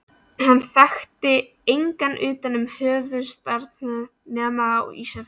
Hann þekkti engan utan höfuðstaðarins nema á Ísafirði.